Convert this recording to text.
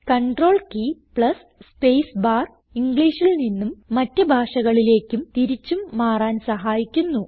control key plus space bar ഇംഗ്ലീഷിൽ നിന്നും മറ്റ് ഭാഷകളിലേക്കും തിരിച്ചും മാറാൻ സഹായിക്കുന്നു